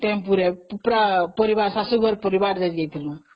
tempo ରେ ପୁରା ଶାଶୁ ଘର ପରିବାର ଯାଇଥିଲୁ